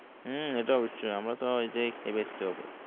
হু এটা অবশ্যয় আমরা তো এটাই খেয়ে বাঁচতে হবে